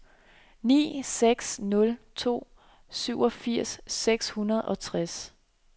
ni seks nul to syvogfirs seks hundrede og tres